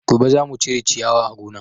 Gobe zamu cire ciyawa a gonan